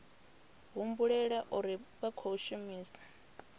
humbulela uri vha khou shumisa